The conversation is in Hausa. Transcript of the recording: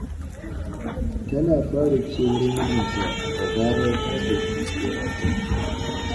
Tana fara kewar mijinta da zarar ta tafi wajen aiki.